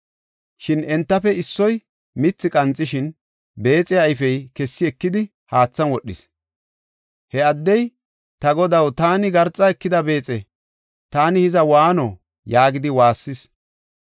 Shin entafe issoy mithi qanxishin, beexiya ayfey kessi ekidi, haathan wodhis. He addey, “Ta godaw, taani garxa ekida beexe; taani hiza waano!” yaagidi waassis.